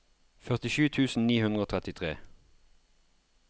førtisju tusen ni hundre og trettitre